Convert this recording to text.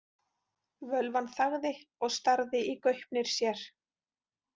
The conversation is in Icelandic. Völvan þagði og starði í gaupnir sér.